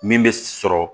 Min bɛ sɔrɔ